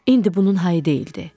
İndi bunun halı deyildi.